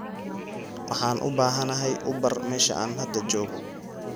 Waxaan u baahanahay uber meesha aan hadda joogo